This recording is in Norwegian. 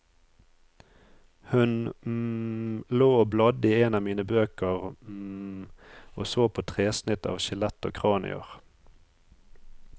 Hun lå og bladde i en av mine bøker og så på tresnitt av skjelett og kranier.